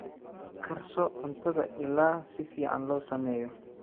Karso cuntada ilaa si fiican loo sameeyo.